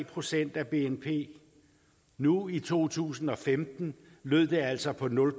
procent af bnp nu i to tusind og femten lød det altså på nul